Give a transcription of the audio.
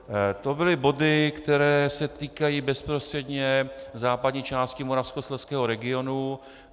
To byly body, které se týkají bezprostředně západní části Moravskoslezského regionu.